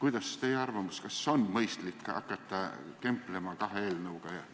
Mis teie arvamus on, kas on mõistlik hakata kemplema kahe eelnõuga?